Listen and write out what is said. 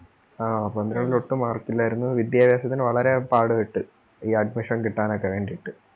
ആ പന്ത്രണ്ടിൽ ഒട്ടും mark ഇല്ലാരുന്നു വിദ്യാഭ്യാസത്തിന് വളരെ പാടുപെട്ടു ഈ admission കിട്ടാൻ ഒക്കെ വേണ്ടീട്ട്.